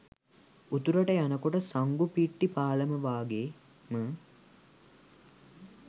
උතුරට යනකොට සංගුපිට්ටි පාලම වාගේම